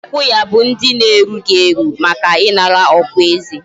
Ndi ikwu ya bu ndi na erughi eru, Maka inara okwa eze